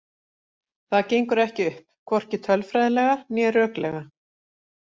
Það gengur ekki upp, hvorki tölfræðilega né röklega.